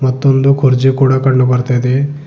ಮತ್ತೊಂದು ಕುರ್ಚಿ ಕೂಡ ಕಂಡು ಬರ್ತಾ ಇದೆ.